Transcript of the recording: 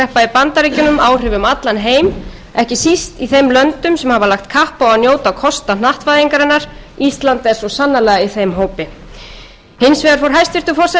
bandaríkjunum áhrif um allan heim ekki síst í þeim löndum sem hafa lagt kapp á að njóta kosta hnattvæðingarinnar ísland er svo sannarlega í þeim hópi hins vegar fór hæstvirtur forsætisráðherra